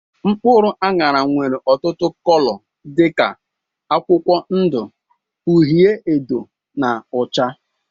Mkpụrụ anyara nwere ọtụtụ cóló dika akwụkwọ ndụ, uhiedo na ọcha.